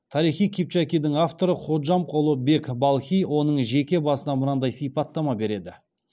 тарихи кипчакидің авторы ходжамқұлы бек балхи оның жеке басына мынадай сипаттама береді